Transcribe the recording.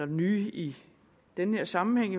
nye i den her sammenhæng